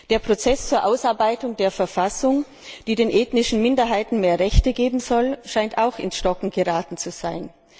Der Prozess zur Ausarbeitung der Verfassung, die den ethnischen Minderheiten mehr Rechte geben soll, scheint auch ins Stocken geraten zu sein.